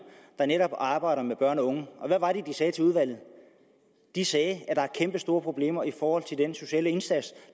der netop arbejder med børn og unge havde og hvad var det de sagde til udvalget de sagde at der er kæmpestore problemer i forhold til den sociale indsats